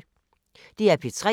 DR P3